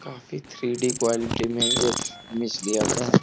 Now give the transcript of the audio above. काफी three D quality में एक इमेज दिया गया है।